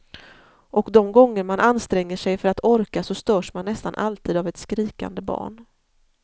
Och de gånger man anstränger sig för att orka så störs man nästan alltid av ett skrikande barn.